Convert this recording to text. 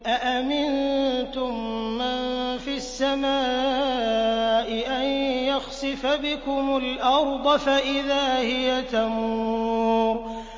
أَأَمِنتُم مَّن فِي السَّمَاءِ أَن يَخْسِفَ بِكُمُ الْأَرْضَ فَإِذَا هِيَ تَمُورُ